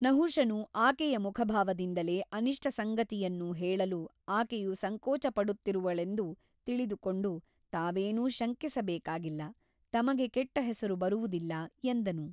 ನಹುಷನು ಆಕೆಯ ಮುಖಭಾವದಿಂದಲೇ ಅನಿಷ್ಟ ಸಂಗತಿಯನ್ನು ಹೇಳಲು ಆಕೆಯು ಸಂಕೋಚಪಡುತ್ತಿರುವಳೆಂದು ತಿಳಿದುಕೊಂಡು ತಾವೇನೂ ಶಂಕಿಸಬೇಕಾಗಿಲ್ಲ ತಮಗೆ ಕೆಟ್ಟ ಹೆಸರು ಬರುವುದಿಲ್ಲ ಎಂದನು.